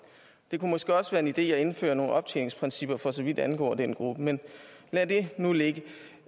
det kunne måske også være en idé at indføre nogle optjeningsprincipper for så vidt angår den gruppe men lad det nu ligge